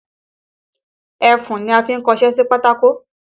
Ẹfun ni a fi ń kọṣé sí pátákó